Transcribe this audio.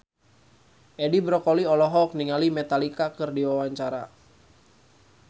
Edi Brokoli olohok ningali Metallica keur diwawancara